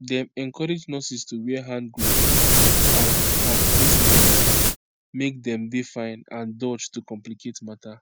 dem encourage nurses to wear hand gloves and and face masks make dem dey fine and dodge to complicate matter